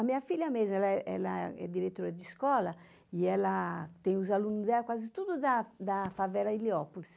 A minha filha mesmo, ela é ela é diretora de escola e ela tem os aluno dela quase tudo da da favela Heliópolis.